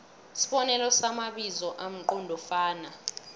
isibonelo samabizo amqondofana